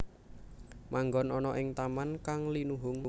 Manggon ana ing taman kang linuhung